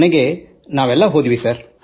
ಕೊನೆಗೆ ನಾವೆಲ್ಲರೂ ಹೋದೆವು